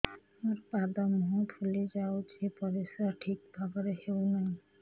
ମୋର ପାଦ ମୁହଁ ଫୁଲି ଯାଉଛି ପରିସ୍ରା ଠିକ୍ ଭାବରେ ହେଉନାହିଁ